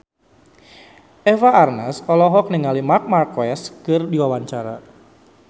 Eva Arnaz olohok ningali Marc Marquez keur diwawancara